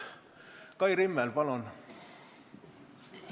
Kai Rimmel, palun!